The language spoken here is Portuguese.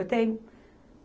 Eu tenho.